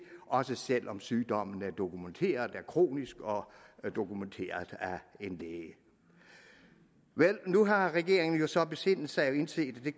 også selv om sygdommen er dokumenteret kronisk og dokumenteret af en læge vel nu har regeringen jo så besindet sig og indset at det